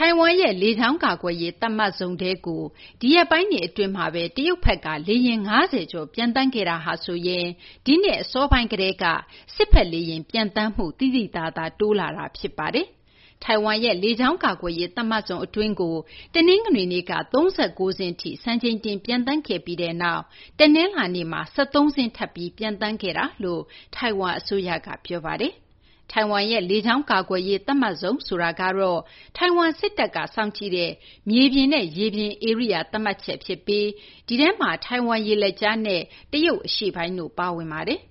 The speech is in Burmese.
ထိုင်ဝမ်ရဲ့ လေကြောင်း ကာကွယ်ရေး သတ်မှတ်ဇုံ ADIZ ထဲကို ဒီရက်ပိုင်းတွေ အတွင်းမှာဘဲ တရုတ်ဘက်က လေယာဉ် ၅၀ ကျော် ပျံသန်းခဲ့တာဟာဆိုရင် ဒီနှစ် အစပိုင်း ကတည်းက စစ်ဘက် လေယာဉ် ပျံသန်းမှုတွေ သိသိသာသာ တိုးလာတာ ဖြစ်ပါတယ်။ ထိုင်ဝမ်ရဲ့ လေကြောင်း ကာကွယ်ရေး သတ်မှတ်ဇုံ အတွင်းကို တနင်္ဂနွေနေ့က ၃၉ စင်းထိ စံချိန်တင် ပျံသန်းခဲ့ပြီးနောက် တနလာၤနေ့မှာ ၁၃ စင်း ထပ်ပြီး ပျံသန်းခဲ့ကြောင်း ထိုင်ဝမ် အစိုးရက ပြောပါတယ်။ ထိုင်ဝမ်ရဲ့ လေကြောင်း ကာကွယ်ရေး သတ်မှတ်ဇုံ ဆိုတာကတော့ ထိုင်ဝမ် စစ်တပ်က စောင့်ကြည့်တဲ့ မြေပြင်နဲ့ ရေပြင် ဧရိယာ သတ်မှတ်ချက် ဖြစ်ပြီး ဒီထဲမှာ ထိုင်ဝမ် ရေလက်ကြားနဲ့ တရုတ် အရှေ့ပိုင်းတို့လည်း ပါဝင်ပါတယ်။